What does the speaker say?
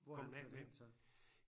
Hvor er han flyttet hen så?